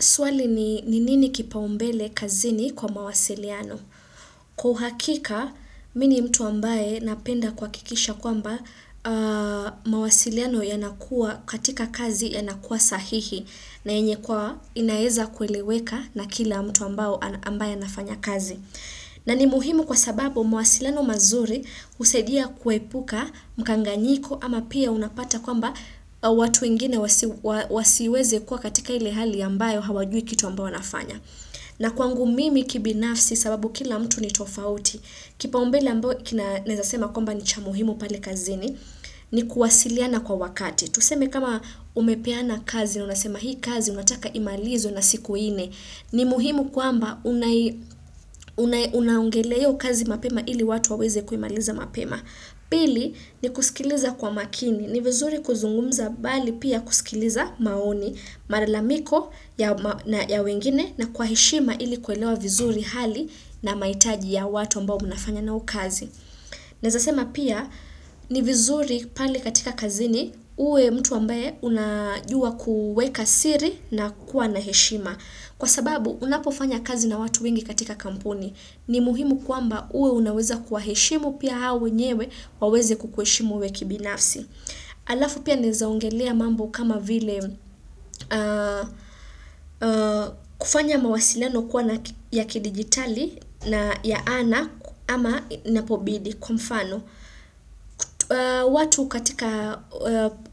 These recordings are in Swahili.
Swali ni nini kipaumbele kazini kwa mawasiliano? Kwa uhakika, mimi ni mtu ambaye napenda kuhakikisha kwamba mawasiliano yanakua katika kazi yanakua sahihi. Na yenye kwa inaeza kueleweka na kila mtu ambayo ambaye anafanya kazi. Na ni muhimu kwa sababu mawasilano mazuri husaidia kuepuka mkanganyiko ama pia unapata kwamba watu wengine wasiweze kuwa katika hili hali ambayo hawajui kitu ambayo wanafanya. Na kwangu mimi kibinafsi sababu kila mtu ni tofauti. Kipa umbele ambayo kina naezasema kwamba ni chamuhimu palekazini ni kuwasiliana kwa wakati. Tuseme kama umepeana kazi na unasema hii kazi unataka imalizwe na siku nne. Ni muhimu kwamba unaongelea hiyo kazi mapema ili watu waweze kuimaliza mapema. Pili ni kusikiliza kwa makini. Ni vizuri kuzungumza bali pia kusikiliza maoni, malalamiko ya wengine na kwa heshima ili kuelewa vizuri hali na mahitaji ya watu ambao mnafanya na wao kazi. Naeza sema pia ni vizuri pale katika kazini uwe mtu ambaye unajua kwueka siri na kuwa na heshima. Kwa sababu unapofanya kazi na watu wengi katika kampuni. Ni muhimu kwamba uwe unaweza kuwa heshimu pia hao wenyewe waweze kukuheshimu wewe kibinafsi. Alafu pia naezaongelea mambo kama vile kufanya mawasiliano kuwa na ya ki digitali na ya ana ama inapobidi kwa mfano. Watu katika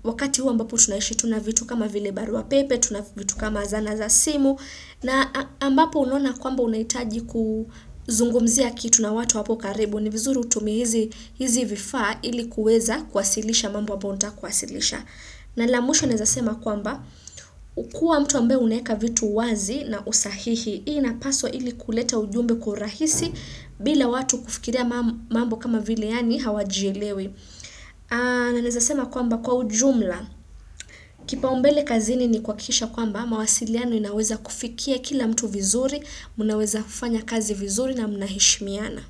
wakati huwa ambapo tunaishi tunavitu kama vile barua pepe, tunavitu kama zana za simu na ambapo unaona kwamba unahitaji kuzungumzia kitu na watu hapo karibu. Ni vizuri utumie hizi vifaa ilikuweza kuwasilisha mambo amayo untaka kuwasilisha. Na la mwisho naezasema kwamba, ukua mtu ambaye unaweka vitu wazi na usahihi. Hii ina paswa ili kuleta ujumbe kwa urahisi bila watu kufikiria mambo kama vile yani hawajielewi. Na naezasema kwamba kwa ujumla. Kipa umbele kazini ni kuhakikisha kwamba, mawasiliano inaweza kufikia kila mtu vizuri, mnaweza kufanya kazi vizuri na mnaheshimiana.